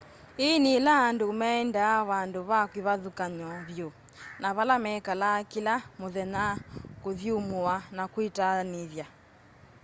ĩĩ nĩ ĩla andũ maendaa vandũ ve kĩvathũkany'o vyũ na vala mekalaa kĩla mũthenya kũthyũmũa na kwĩtaanĩthya